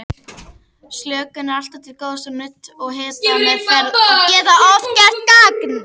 Slökun er alltaf til góðs og nudd og hitameðferð geta oft gert gagn.